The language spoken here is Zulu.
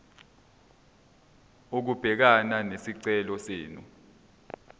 ukubhekana nesicelo senu